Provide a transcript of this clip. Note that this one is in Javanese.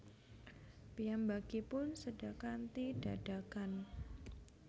Piyambakipun séda kanthi dadakan